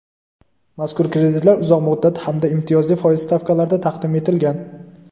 mazkur kreditlar uzoq muddat hamda imtiyozli foiz stavkalarida taqdim etilgan.